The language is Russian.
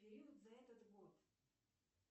период за этот год